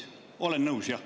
Olen nõus jah.